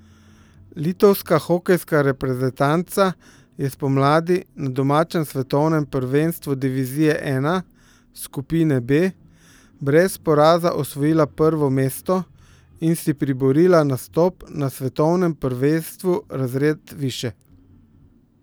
Litovska hokejska reprezentanca je spomladi na domačem svetovnem prvenstvu divizije I, skupine B, brez poraza osvojila prvo mesto in si priborila nastop na svetovnem prvenstvu razred višje.